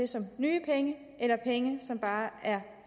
som nye penge eller penge som bare er